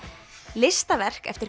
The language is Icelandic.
listaverk eftir